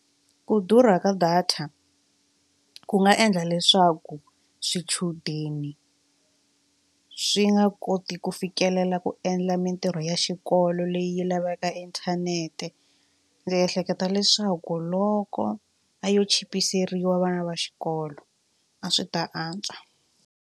Ku durha ka data ku nga endla leswaku swichudeni swi nga koti ku fikelela ku endla mintirho ya xikolo xikolo leyi lavekaka inthanete. Ndzi ehleketa leswaku loko a yo chipiseriwa vana va xikolo a swi ta antswa.